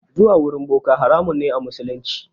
Zuwa wurin boka haramun ne a musulunci.